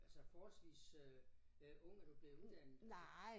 Altså forholdsvis øh øh ung er du blevet uddannet